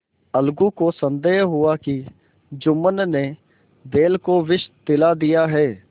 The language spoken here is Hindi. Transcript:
अलगू को संदेह हुआ कि जुम्मन ने बैल को विष दिला दिया है